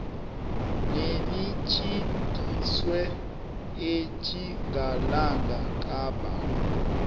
nelitjhidiselwe etjingalanga kapa